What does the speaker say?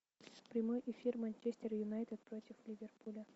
прямой эфир манчестер юнайтед против ливерпуля